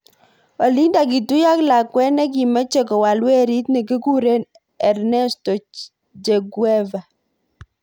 Olindak kituyat ak lakwet nikimeche kowal werit nikikikure Ernesto "Che" Guevara.